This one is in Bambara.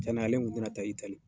Cɛn na ale kun tina taa Itali.